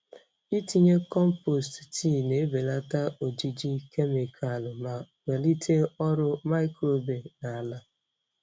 Itinye compost tii na-ebelata ojiji kemịkalụ ma kwalite ọrụ microbe na ala.